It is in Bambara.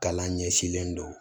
Kalan ɲɛsilen don